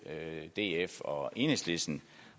df og enhedslisten